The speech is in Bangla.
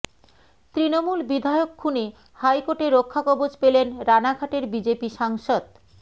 তৃণমূল বিধায়ক খুনে হাইকোর্টে রক্ষাকবচ পেলেন রানাঘাটের বিজেপি সাংসদ